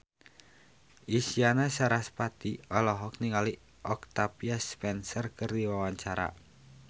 Isyana Sarasvati olohok ningali Octavia Spencer keur diwawancara